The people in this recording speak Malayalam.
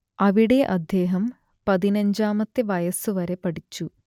അവിടെ അദ്ദേഹം പതിനഞ്ചാമത്തെ വയസ്സുവരെ പഠിച്ചു